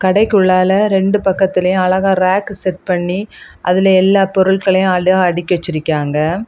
கடைக்குள்ளால ரெண்டு பக்கத்துலயும் அழகா ரேக் செட் பண்ணி அதுல எல்லா பொருட்களையும் அழகா அடுக்கி வச்சிருக்கியாங்க.